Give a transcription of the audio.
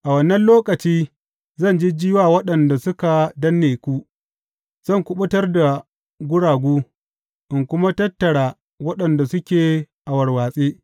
A wannan lokaci zan jijji wa waɗanda suka danne ku; zan kuɓutar da guragu in kuma tattara waɗanda suke a warwatse.